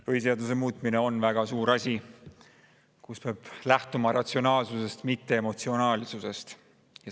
Põhiseaduse muutmine on väga suur asi, mille puhul peab lähtuma ratsionaalsusest, mitte emotsionaalsusest.